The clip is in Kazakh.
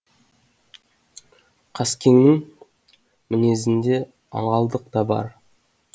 қаскеңнің мінезінде аңғалдық та бар